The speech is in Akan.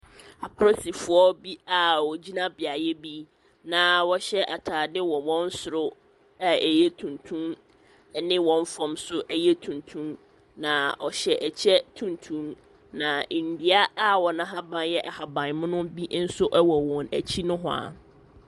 Apolisifoɔ a wogyina beaeɛ bi na wɔhyɛ ataade wɔ wɔn soro a ɛyɛ tuntum ne wɔn fam nso tuntum. Na ɔhyɛ ɛkyɛ tuntum. Na nnua wɔn ahaban yɛ ahabsan mono nso wɔ wɔn akyi nohwaa.